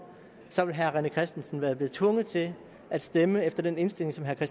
så ville herre rené christensen være tvunget til at stemme efter den indstilling som herre